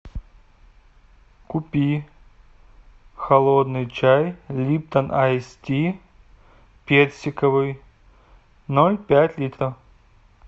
купи холодный чай липтон айс ти персиковый ноль пять литров